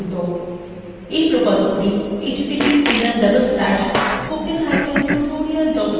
এই প্রকল্পটি